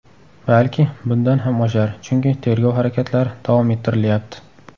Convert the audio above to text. Balki, bundan ham oshar, chunki tergov harakatlari davom ettirilyapti.